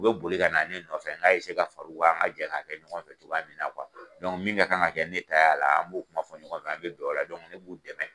U be boli ka na ne nɔfɛ, n ga ka far'u kan, an ga jɛ k'a kɛ ɲɔgɔn fɛ cogoya min na min ka kan ka kɛ ne ta y'a la, an b'o kuma fɔ ɲɔgɔn fɛ, an be bɛn o la, ne b'u dɛmɛ.